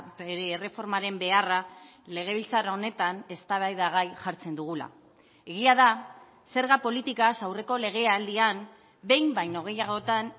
bere erreformaren beharra legebiltzar honetan eztabaidagai jartzen dugula egia da zerga politikaz aurreko legealdian behin baino gehiagotan